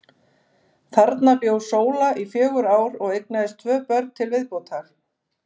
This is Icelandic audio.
Þarna bjó Sóla í fjögur ár og eignaðist tvö börn til viðbótar.